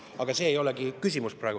Aga see ei olegi praegu küsimus.